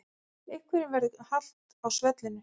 Einhverjum verður halt á svellinu